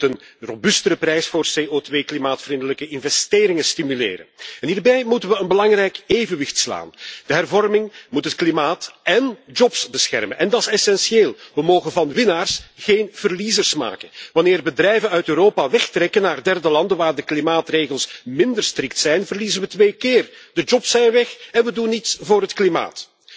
Zo moeten we een robuustere prijs voor CO2-klimaatvriendelijke investeringen stimuleren en hierbij moeten we een belangrijk evenwicht creëren. De hervorming moet het klimaat en banen beschermen en dat is essentieel. We mogen van winnaars geen verliezers maken. Wanneer bedrijven uit Europa wegtrekken naar derde landen waar de klimaatregels minder strikt zijn, verliezen we twee keer de banen zijn weg en we doen niets voor het klimaat.